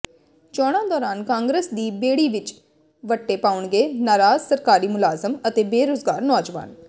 ਚੋਣਾਂ ਦੌਰਾਨ ਕਾਂਗਰਸ ਦੀ ਬੇੜੀ ਵਿੱਚ ਵੱਟੇ ਪਾਉਣਗੇ ਨਾਰਾਜ ਸਰਕਾਰੀ ਮੁਲਾਜਮ ਅਤੇ ਬੇਰੁਜਗਾਰ ਨੌਜਵਾਨ